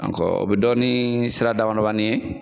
o bɛ dɔn ni sira damadamanin ye